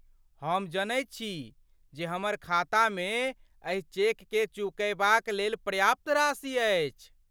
हम जनैत छी जे हमर खातामे एहि चेककेँ चुकयबाक लेल पर्याप्त राशि अछि।